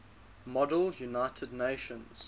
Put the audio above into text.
model united nations